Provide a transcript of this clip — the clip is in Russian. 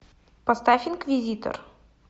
поставь инквизитор